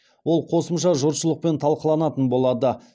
ол қосымша жұртшылықпен талқыланатын болады